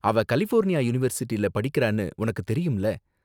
அவ கலிஃபோர்னியா யூனிவர்சிட்டில படிக்குறானு உனக்கு தெரியும்ல?